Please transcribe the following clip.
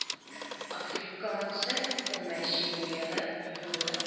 afrikaanse kommersiële boere